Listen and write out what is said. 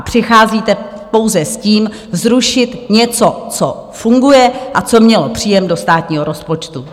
A přicházíte pouze s tím, zrušit něco, co funguje a co mělo příjem do státního rozpočtu.